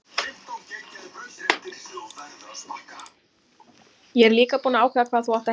Ég er líka búinn að ákveða hvað þú átt að heita.